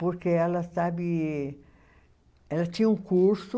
Porque ela sabe, ela tinha um curso